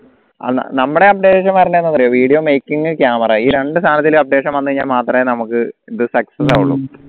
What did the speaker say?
അഹ് നമ്മടെ updation വരണ്ടെ എന്താന്നറിയോ video making camera ഈ രണ്ടു സാനത്തിലും updation വന്നു കഴിഞ്ഞാൽ മാത്രമേ നമുക്ക് ഇത് success ഉള്ളൂ